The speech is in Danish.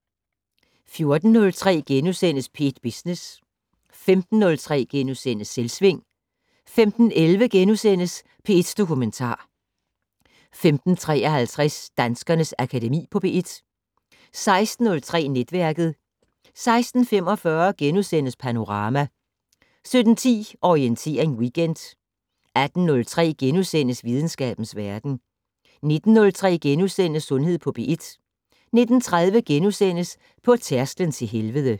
14:03: P1 Business * 15:03: Selvsving * 15:11: P1 Dokumentar * 15:53: Danskernes Akademi på P1 16:03: Netværket 16:45: Panorama * 17:10: Orientering Weekend 18:03: Videnskabens Verden * 19:03: Sundhed på P1 * 19:30: På tærsklen til helvede (6:8)*